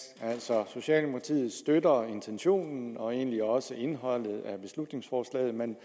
socialdemokratiet støtter intentionen og egentlig også indholdet af beslutningsforslaget men